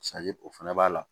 o fɛnɛ b'a la